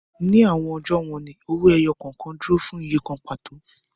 Ni awọn ọjọ wọnni, owoẹyọ kọọkan duro fun iye kan pato